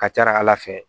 Ka ca ala fɛ